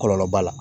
Kɔlɔlɔ b'a la